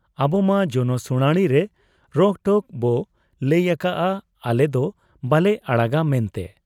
ᱟᱵᱚᱢᱟ ᱡᱚᱱᱚ ᱥᱩᱬᱟᱬᱤ ᱨᱮ ᱨᱚᱠᱴᱷᱚᱠ ᱵᱚ ᱞᱟᱹᱭ ᱟᱠᱟᱜ ᱟ, ᱟᱞᱮᱫᱚ ᱵᱟᱞᱮ ᱟᱲᱟᱜᱟ ᱢᱮᱱᱛᱮ ᱾